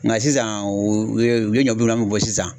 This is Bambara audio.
sisan o ye u ye u ye ni bɔ sisan.